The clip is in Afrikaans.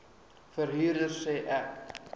verhuurder sê ek